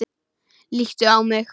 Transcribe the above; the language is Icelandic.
Líttu á mig.